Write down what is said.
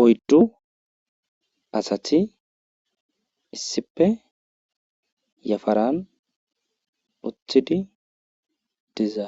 Oyddu asati issippe yafaran uttidi diza